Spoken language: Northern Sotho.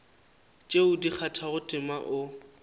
tše di kgathago tema o